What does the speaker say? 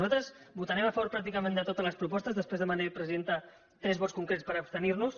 nosaltres votarem a favor pràcticament de totes les propostes després demanaré presidenta tres vots concrets per abstenir nos